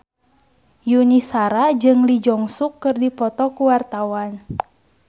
Yuni Shara jeung Lee Jeong Suk keur dipoto ku wartawan